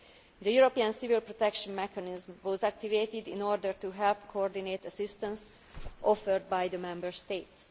The European Civil Protection Mechanism was activated in order to help coordinate assistance offered by the Member States.